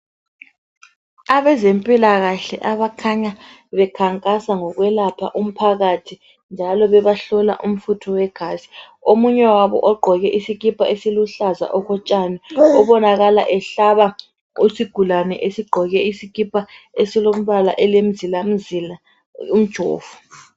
Abezempilakahle abakhanya bekhankasa ngokwelapha umphakathi njalo bebahlola umfutho wegazi omunye wabo ogqoke isikipa esiluhlaza okotshani obonakala ehlaba isigulani esigqoke isikipa esilombala elemzilazila umjovo